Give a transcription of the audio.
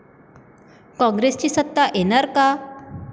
कॉंग्रेसची सत्ता येणार का?